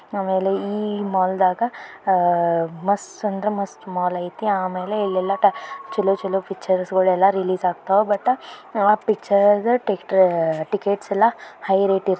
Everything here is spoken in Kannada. ಆಮೇಲೆ ಈ ಮಾಲ್ದಾಗ ಅಹ್ ಮಸ್ತ್ ಅಂದ್ರೆ ಮಸ್ತ್ ಮಾಲ್ ಐತಿ ಆಮೇಲೆ ಇಲ್ ಯಲ್ಲ ಟ ಚಲೊ-ಚಲೋ ಪಿಕ್ಚರ್ಸ್ಗುಳೆಲ್ಲ ರಿಲೀಸ್ ಆಗ್ತಾವ ಬಟ್ ಅ ಆ ಪಿಕ್ಚರ್ ಟಿಸ್ಟ್ರು ಟಿಕೆಟ್ಸ್ ಯಲ್ಲ ಹೈ ರೇಟ್ ಇರ್ತೈತಿ.